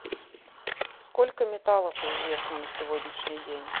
сколько металлов известно на сегодняшний день